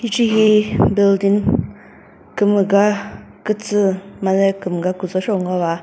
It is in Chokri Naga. hichehi building kümüga kütsü made kümüga küzho sheo ngova.